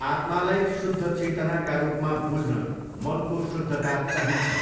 आत्मालाई शुद्ध चेतनाका रूपमा बुझ्न मनको शुद्धता चाहिन्छ।